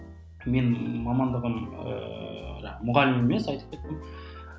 менің мамандығым ыыы мұғалім емес айтып кеттім